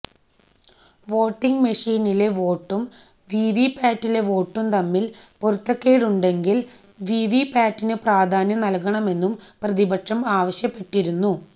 voting മെഷീനിലെ വോട്ടും വിവി പാറ്റിലെ വോട്ടും തമ്മിൽ പൊരുത്തക്കേടുണ്ടെങ്കിൽ വിവി പാറ്റിന് പ്രാധാന്യം നൽകണമെന്നും പ്രതിപക്ഷം ആവശ്യപ്പെട്ടിരുന്നു